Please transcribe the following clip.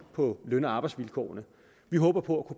på løn og arbejdsvilkårene vi håber på